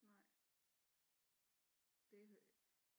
Nej det